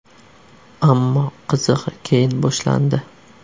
Ammo qizig‘i keyin boshlandi.